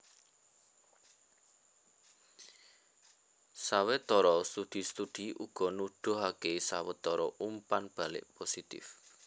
Sawetara studi studi uga nuduhaké sawetara umpan balik positif